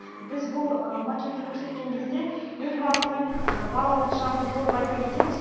біз бұл макетті көрсеткен кезде елбасының балалық шағын толық айта кетеміз